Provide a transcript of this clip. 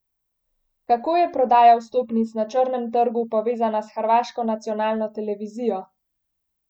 Kako je prodaja vstopnic na črnem trgu povezana s hrvaško nacionalno televizijo?